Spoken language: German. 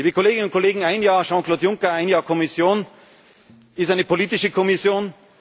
beteiligen. Liebe Kolleginnen und Kollegen, ein Jahr Jean Claude Juncker, ein Jahr Kommission ist eine politische